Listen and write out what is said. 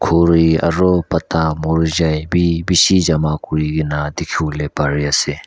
khuri aro pata murijai bi beshi jama kurina dekhevole pare ase.